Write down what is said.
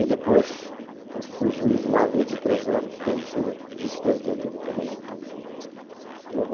E depois eu fui juiz lá vinte e três anos, tendo sido vice-presidente do tribunal também.